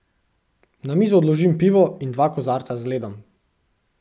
Na mizo odložim pivo in dva kozarca z ledom.